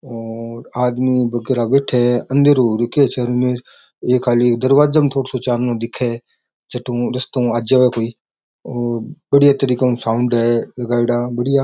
और आदमी वगेरा बेठ्या है अन्देरो हु रखयो है चारो मेर एक खाली दरवाजा में थोड़ो सो चाननो दिखे जटु रस्ता हु आ जावे कोई और बढ़िया तरीके हु साऊंड है लगाईड़ा बढ़िया।